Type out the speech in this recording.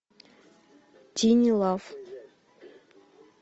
тини лав